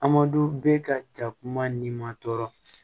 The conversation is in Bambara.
Amadu bɛ ka ja kuma ni ma tɔɔrɔ